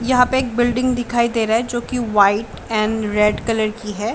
यहाँ पे एक बिल्डिंग दिखाइ दे रहा है जो कि वाइट एंड रेड कलर की है।